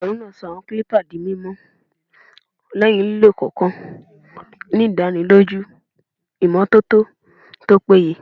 Onigerun naa sọ awọn clippers di mimọ lẹhin lilo kọọkan, ni idaniloju imototo to peye.